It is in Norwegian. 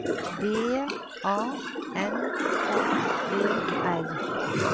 B A N K E R